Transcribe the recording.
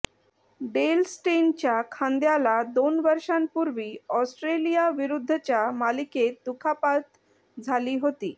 del स्टेनच्या खांद्याला दोन वर्षांपूर्वी ऑस्ट्रेलियाविरुद्धच्या मालिकेत दुखापत झाली होती